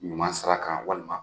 Ɲuman sara kan walima